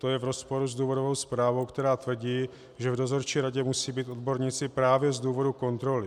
To je v rozporu s důvodovou zprávou, která tvrdí, že v dozorčí radě musí být odborníci právě z důvodu kontroly.